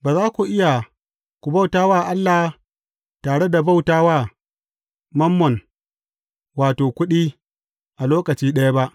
Ba za ku iya ku bauta wa Allah tare da bauta wa Mammon wato, Kuɗi a lokaci ɗaya ba.